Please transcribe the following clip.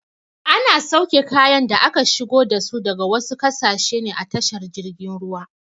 Ana sauke kayan da aka shigo dasu daga wasu ƙasashe ne a tashar jirgin ruwa.